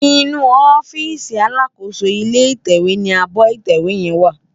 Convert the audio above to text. Inú òfisí àlákósó ilé itèwé ni ábò itèwé yèn wá